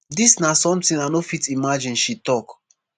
dis na sometin i no fit imagine she tok